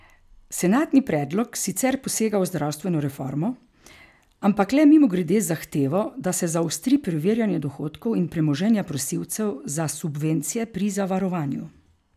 Senatni predlog sicer posega v zdravstveno reformo, ampak le mimogrede z zahtevo, da se zaostri preverjanje dohodkov in premoženja prosilcev za subvencije pri zavarovanju.